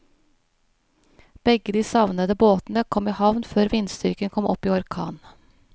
Begge de savnede båtene kom i havn før vindstyrken kom opp i orkan.